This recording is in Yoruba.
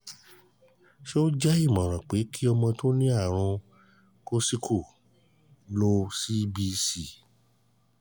ṣé o um je o um je imoran pe ki ọmọ um tó ní àrùn coxsackie lo cbc?